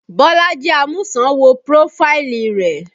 Bolaji Amusan wo prófáìlì rẹ